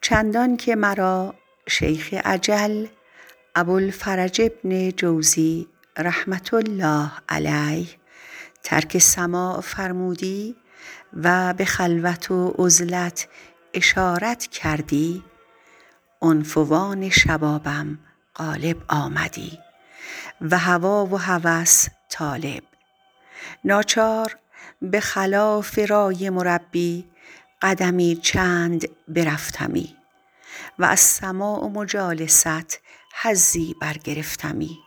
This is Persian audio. چندان که مرا شیخ اجل ابوالفرج بن جوزی رحمة الله علیه ترک سماع فرمودی و به خلوت و عزلت اشارت کردی عنفوان شبابم غالب آمدی و هوا و هوس طالب ناچار به خلاف رای مربی قدمی برفتمی و از سماع و مجالست حظی برگرفتمی